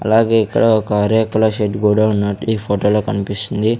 అలాగే ఇక్కడ ఒక రేకుల షెడ్ ఉన్నట్టు ఈ ఫోటో లో కన్పిస్తుంది.